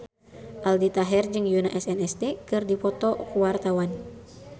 Aldi Taher jeung Yoona SNSD keur dipoto ku wartawan